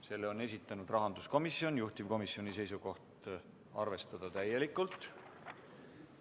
Selle on esitanud rahanduskomisjon, juhtivkomisjoni seisukoht on arvestada täielikult.